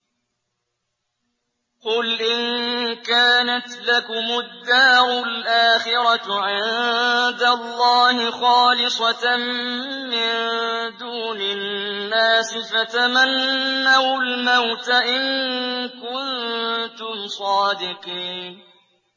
قُلْ إِن كَانَتْ لَكُمُ الدَّارُ الْآخِرَةُ عِندَ اللَّهِ خَالِصَةً مِّن دُونِ النَّاسِ فَتَمَنَّوُا الْمَوْتَ إِن كُنتُمْ صَادِقِينَ